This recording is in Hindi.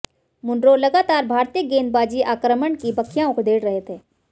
मुनरो लगातार भारतीय गेंदबाजी आक्रमण की बखियां उधेड़ रहे थे